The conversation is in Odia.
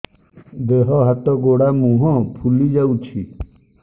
ଦେହ ହାତ ଗୋଡୋ ମୁହଁ ଫୁଲି ଯାଉଛି